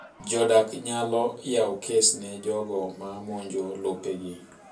Jodak nyalo yawo kes ne jogo ma mamonjo lopegi..